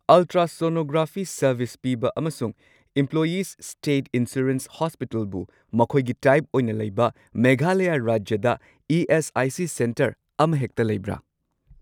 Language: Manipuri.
ꯑꯜꯇ꯭ꯔꯥꯁꯣꯅꯣꯒ꯭ꯔꯥꯐꯤ ꯁꯔꯚꯤꯁ ꯄꯤꯕ ꯑꯃꯁꯨꯡ ꯢꯝꯄ꯭ꯂꯣꯌꯤꯁ ꯁ꯭ꯇꯦꯠ ꯏꯟꯁꯨꯔꯦꯟꯁ ꯍꯣꯁꯄꯤꯇꯜꯕꯨ ꯃꯈꯣꯏꯒꯤ ꯇꯥꯏꯞ ꯑꯣꯏꯅ ꯂꯩꯕ ꯃꯦꯘꯥꯂꯌꯥ ꯔꯥꯖ꯭ꯌꯗ ꯏ.ꯑꯦꯁ.ꯑꯥꯏ.ꯁꯤ. ꯁꯦꯟꯇꯔ ꯑꯃꯍꯦꯛꯇ ꯂꯩꯕ꯭ꯔꯥ꯫